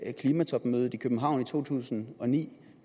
klimatopmødet i københavn i 2009